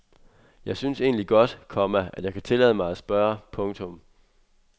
Jeg synes egentlig godt, komma at jeg kan tillade mig at spørge. punktum